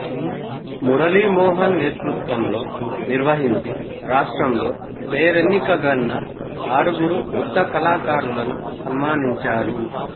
మురళీమోహన్ నేతృత్వంలో నిర్వహించి రాష్ట్రంలో పేరెన్నికగన్న ఆరుగురు వృద్ధకళాకారులను సన్మానించారు